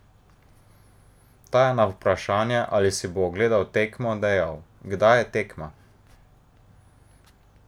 Ta je na vprašanje, ali si bo ogledal tekmo, dejal: "Kdaj je tekma?